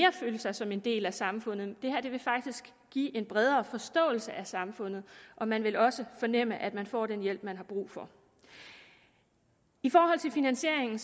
føle sig som en del af samfundet det her vil faktisk give en bredere forståelse af samfundet og man vil også fornemme at man får den hjælp man har brug for i forhold til finansieringen